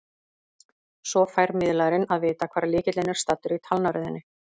Svo fær miðlarinn að vita hvar lykillinn er staddur í talnaröðinni.